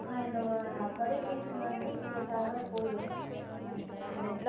ஆஹ் இந்த தொலைபேசியில் மட்டும் கேட்டால் போதும் நீங்கள் வந்து